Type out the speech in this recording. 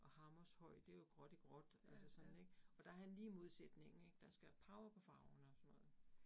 Og Hammershøi det jo gråt i gråt altså sådan ik. Og der han lige modsætningen ik, der skal power på farverne og sådan noget